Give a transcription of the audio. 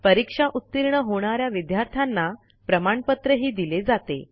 परीक्षा उतीर्ण होणा या विद्यार्थ्यांना प्रमाणपत्रही दिले जाते